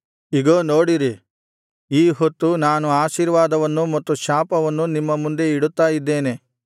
ಇಗೋ ನೋಡಿರಿ ಈ ಹೊತ್ತು ನಾನು ಆಶೀರ್ವಾದವನ್ನೂ ಮತ್ತು ಶಾಪವನ್ನೂ ನಿಮ್ಮ ಮುಂದೆ ಇಡುತ್ತಾ ಇದ್ದೇನೆ